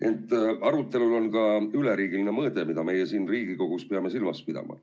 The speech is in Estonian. Ent sel arutelul on ka üleriigiline mõõde, mida meie siin Riigikogus peame silmas pidama.